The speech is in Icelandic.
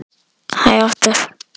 Hvað er Elísa annað en vandræði?